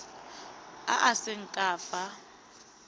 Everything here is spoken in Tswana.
a a seng ka fa